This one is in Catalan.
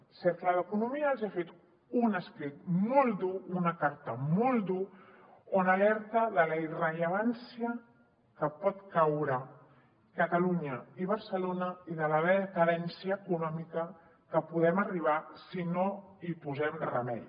el cercle d’economia els ha fet un escrit molt dur una carta molt dura on alerta de la irrellevància en què poden caure catalunya i barcelona i de la decadència econòmica a què podem arribar si no hi posem remei